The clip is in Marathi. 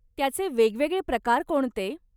त्याचे वेगवेगळे प्रकार कोणते?